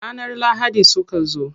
Ranar lahadi suka zo.